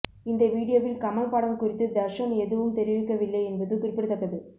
இந்த வீடியோவில் கமல் படம் குறித்து தர்ஷன் எதுவும் தெரிவிக்கவில்லை என்பது குறிப்பிடத்தக்கது